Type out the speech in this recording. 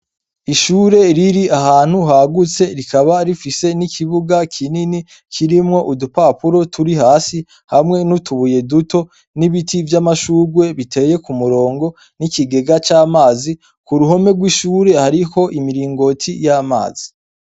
Ishure riri ahantu hagutse rikaba rifise n'ikibuga kinini kirimwo udupapuro turi hasi, hamwe n'utubuye duto, n'ibiti vy'amashurwe biteye ku murongo, n'ikigega c'amazi, ku ruhome rw'ishure hariho imiringoti y'amazi.